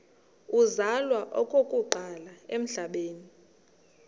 uzalwa okokuqala emhlabeni